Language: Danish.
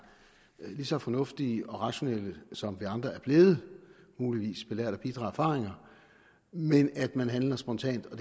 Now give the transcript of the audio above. lige så fornuftige og rationelle som vi andre er blevet muligvis belært af bitre erfaringer men at man handler spontant og